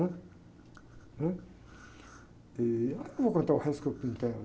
Né? Né? E, ah, eu não vou contar o resto que eu pintei lá